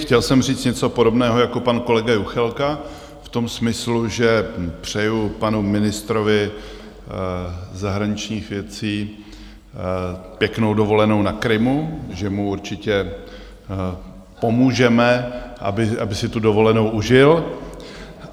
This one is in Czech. Chtěl jsem říct něco podobného jako pan kolega Juchelka v tom smyslu, že přeju panu ministrovi zahraničních věcí pěknou dovolenou na Krymu, že mu určitě pomůžeme, aby si tu dovolenou užil.